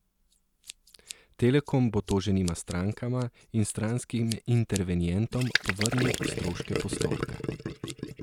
Telekom bo toženima strankama in stranskim intervenientom povrnil stroške postopka.